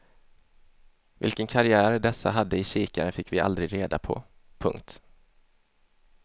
Vilken karriär dessa hade i kikarn fick vi aldrig reda på. punkt